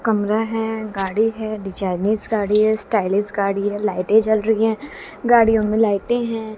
कमरा हैं गाड़ी है डिजाइनिज गाड़ी है स्टाइलिश गाड़ी है लाइटे जल रही हैं गाड़ियों में लाइटें हैं।